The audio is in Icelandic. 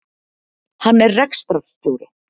Hann er rekstrarstjóri